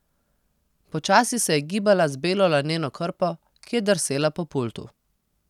Počasi se je gibala z belo laneno krpo, ki je drsela po pultu.